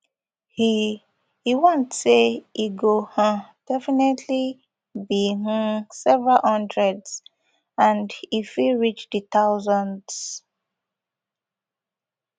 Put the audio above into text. e e warn say e go um definitely be um several hundred and e fit reach di thousands